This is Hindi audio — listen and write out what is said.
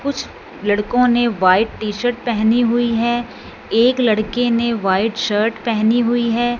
कुछ लड़कों ने व्हाइट टी शर्ट पहनी हुई है एक लड़के ने व्हाइट शर्ट पहनी हुई है।